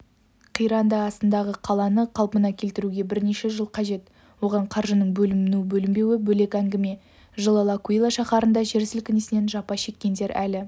қиранды астындағы қаланы қалпына келтіруге бірнеше жыл қажет оған қаржының бөліну-бөлінбеуі бөлек әңгіме жылы лакуила шаһарында жер сілкінісінен жапа шеккендер әлі